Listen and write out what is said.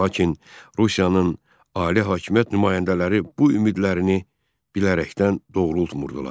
Lakin Rusiyanın ali hakimiyyət nümayəndələri bu ümidlərini bilərəkdən doğrultmurdular.